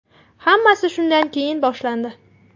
Hammasi shundan keyin boshlandi.